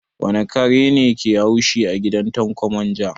Wane kare ne ke haushi a gidan Tanko manja?